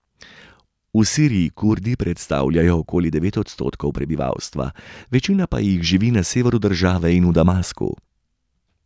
V Siriji Kurdi predstavljajo okoli devet odstotkov prebivalstva, večina pa jih živi na severu države in v Damasku.